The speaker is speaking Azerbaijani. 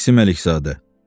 İsim Ələkzaddə.